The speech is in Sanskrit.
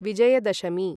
विजयदशमी